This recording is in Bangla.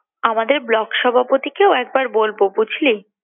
আমাদের ব্লক সভাপতিকেও একবার বলবো বুঝলি